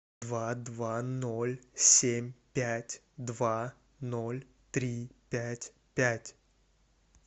два два ноль семь пять два ноль три пять пять